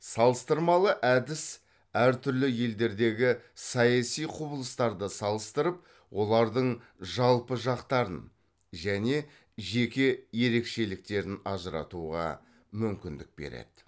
салыстырмалы әдіс әр түрлі елдердегі саяси құбылыстарды салыстырып олардың жалпы жақтарын және жеке ерекшеліктерін ажыратуға мүмкіндік береді